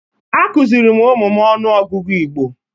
A kụziri m ụmụ m ọnụọgụgụ Igbo.